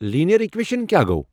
"Linear equation" کیا گو ؟